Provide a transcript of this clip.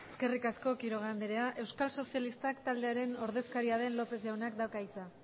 eskerrik asko quiroga andrea euskal sozialistak taldearen ordezkaria den lópez jaunak dauka hitza